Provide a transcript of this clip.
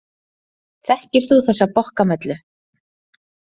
Þekkir þú þessa bokkamellu?